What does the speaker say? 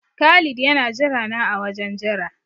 Khalid yana jirana a wajen jira.